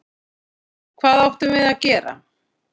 Hvað áttum við að gera?